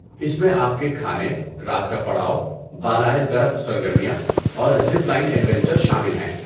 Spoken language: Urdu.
اس میں آپ کے کھانے، رات کا پڑاؤ، بالائے درخت سرگرمیاں اور زپ لائن ایڈوینچر شامل ہیں۔